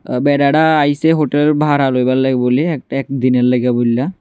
আ বেটাটা আইসে হোটেল ভাড়া লই বার একটা একদিনের লইগে বললা।